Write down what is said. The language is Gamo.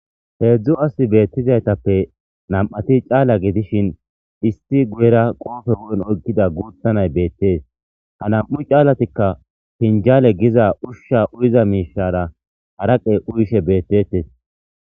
heedzdzu asi beettizaytappe nam7ati caala gidishin isti guyera qoofe wu7en oykkida guutanay beettees ha nam7u caalatikka pinjaale giza ushsha uyiza miishara haraqey uyshe beettetes